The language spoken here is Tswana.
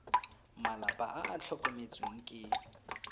malapa a a tlhokometsweng ke